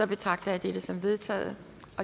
betragter jeg dette som vedtaget